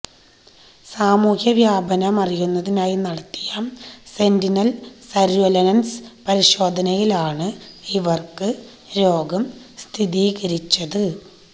സമൂഹ വ്യാപനമറിയുന്നതിനായി നടത്തിയ സെന്റിനല് സര്വൈലന്സ് പരിശോധനയിലാണ് ഇവര്ക്ക് രോഗം സ്ഥിരീകരിച്ചത്